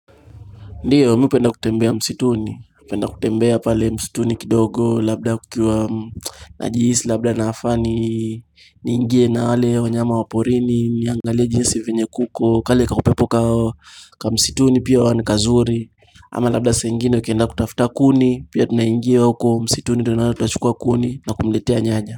Ndiyo, mimi hupenda kutembea msituni, napenda kutembea pale msituni kidogo, labda kukiwa najihisi, labda nafaa ni, niingie na wale wanyama wa porini, niangalia jinsi venye kuko, kale kakupepo ka msituni pia ni kazuri, ama labda saa ingine ukienda kutafuta kuni, pia tunaingia huko msituni, tunaenda tunachukua kuni na kumletea nyanya.